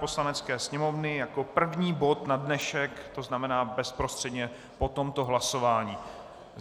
Poslanecké sněmovny jako první bod na dnešek, to znamená bezprostředně po tomto hlasování.